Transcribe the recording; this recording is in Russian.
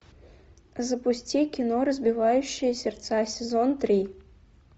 запусти кино разбивающая сердца сезон три